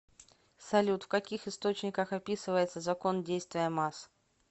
салют в каких источниках описывается закон действия масс